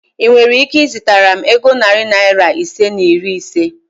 Ị nwere ike izitara m ego narị Naira ise na iri ise?